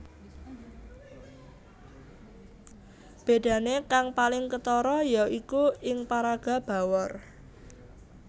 Bedane kang paling ketara ya iku ing paraga Bawor